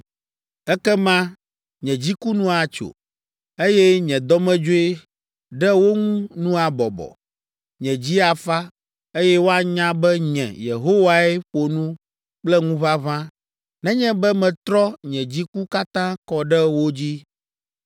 “Ekema nye dziku nu atso, eye nye dɔmedzoe ɖe wo ŋu nu abɔbɔ, nye dzi afa, eye woanya be nye, Yehowae ƒo nu kple ŋuʋaʋã nenye be metrɔ nye dziku katã kɔ ɖe wo dzi.